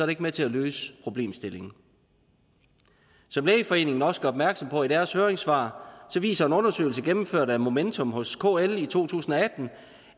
ikke med til at løse problemstillingen som lægeforeningen også gør opmærksom på i deres høringssvar viser en undersøgelse gennemført af momentum hos kl i to tusind og